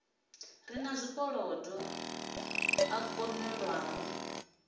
re na zwikolodo a kunḓelwaho